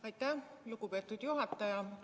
Aitäh, lugupeetud juhataja!